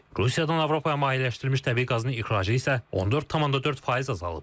Rusiyadan Avropaya mayeləşdirilmiş təbii qazın ixracı isə 14,4% azalıb.